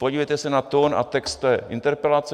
Podívejte se na tón a text interpelace.